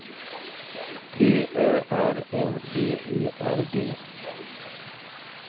T Ö R N B E R G